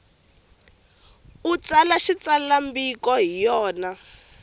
u tsala xitsalwambiko hi yona